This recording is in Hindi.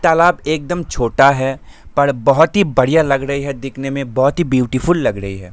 तालाब एकदम छोटा है पर बहुत ही बड़ियाँ लग रही है दिखने में बहुत ही ब्यूटीफुल लग रही हैं।